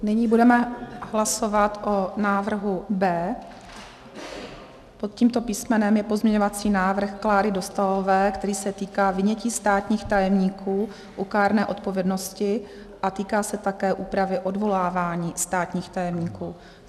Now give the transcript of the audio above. Nyní budeme hlasovat o návrhu B. Pod tímto písmenem je pozměňovací návrh Kláry Dostálové, který se týká vynětí státních tajemníků u kárné odpovědnosti a týká se také úpravy odvolávání státních tajemníků.